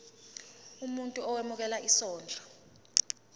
umuntu owemukela isondlo